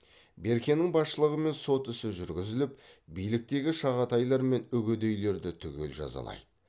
беркенің басшылығымен сот ісі жүргізіліп биліктегі шағатайлар мен үгедейлерді түгел жазалайды